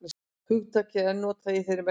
hugtakið er enn notað í þeirri merkingu